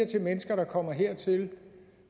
til mennesker der kommer hertil